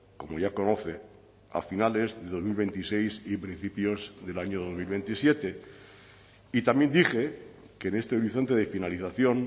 como ya conoce a finales de dos mil veintiséis y principios del año dos mil veintisiete y también dije que en este horizonte de finalización